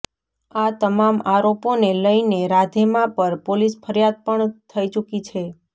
આ તમામ આરોપોને લઇને રાધે માં પર પોલીસ ફરિયાદ પણ થઈ ચૂકી છે